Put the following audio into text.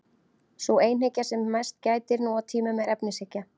Sú einhyggja sem mest gætir nú á tímum er efnishyggja.